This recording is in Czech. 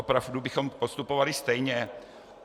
Opravdu bychom postupovali stejně?